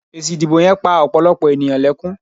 Èsì ìdìbò yen pa òpòlòpò ènìyàn lekun